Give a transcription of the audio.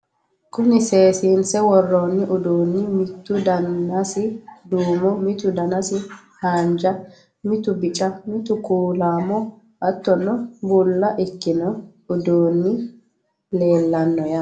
kuni seesiinse worroonni uduunni, mitu danasi duumo, mitu danasi haanja, mitu bica mitu kuulaamo hattono bulla ikkino uduunni leelanno yaate.